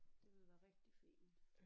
Det ville være rigtig fint